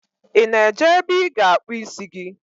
Ị na-eje ebe ị ga-akpụ isi gị?